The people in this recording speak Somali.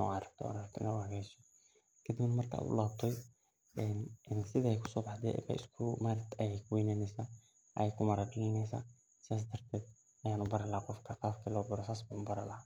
sothas aya u celineysa qabkas ayan wax u bari laha.